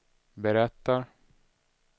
berättar